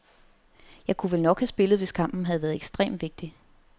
Jeg kunne vel nok have spillet, hvis kampen havde været ekstrem vigtig.